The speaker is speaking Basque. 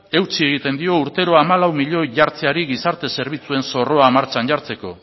eutsi egiten dio urtero hamalau milioi jartzeari gizarte zerbitzuen zorroa martxan jartzeko